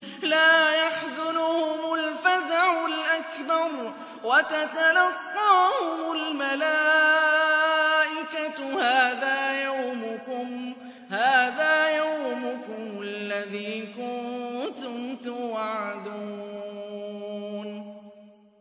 لَا يَحْزُنُهُمُ الْفَزَعُ الْأَكْبَرُ وَتَتَلَقَّاهُمُ الْمَلَائِكَةُ هَٰذَا يَوْمُكُمُ الَّذِي كُنتُمْ تُوعَدُونَ